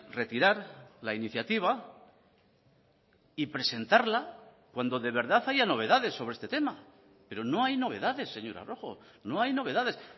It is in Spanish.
retirar la iniciativa y presentarla cuando de verdad haya novedades sobre este tema pero no hay novedades señora rojo no hay novedades